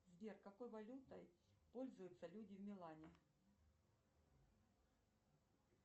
сбер какой валютой пользуются люди в милане